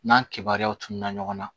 N'an kibaruyaw tununa ɲɔgɔn na